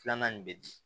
Filanan nin bɛ di